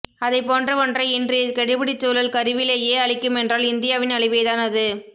அதைப்போன்ற ஒன்றை இன்றைய கெடுபிடிச்சூழல் கருவிலேயே அழிக்குமென்றால் இந்தியாவின் அழிவேதான் அது